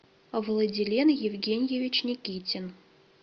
владилен евгеньевич никитин